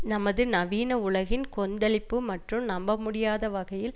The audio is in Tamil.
நமது நவீன உலகின் கொந்தளிப்பு மற்று நம்ப முடியாத வகையில்